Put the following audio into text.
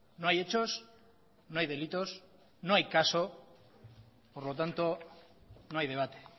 no hay hechos no hay delitos no hay caso por lo tanto no hay debate